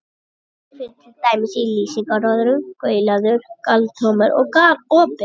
Gal- kemur fyrir til dæmis í lýsingarorðunum galauður, galtómur og galopinn.